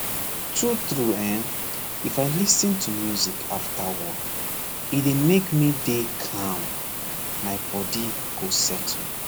true true hen if i lis ten to music after work he dey make me dey calm my body go settle